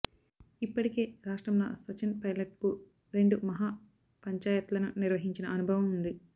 ఇప్పటికే రాష్ట్రంలో సచిన్ పైలట్కు రెండు మహా పంచాయత్లను నిర్వహించిన అనుభవం ఉంది